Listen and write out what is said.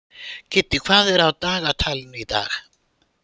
Kiddi, hvað er á dagatalinu í dag?